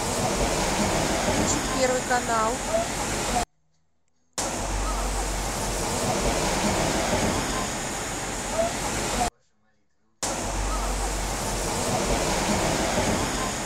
включить первый канал